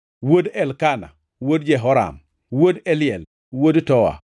wuod Elkana, wuod Jeroham, wuod Eliel, wuod Toa,